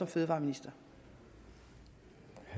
fødevareminister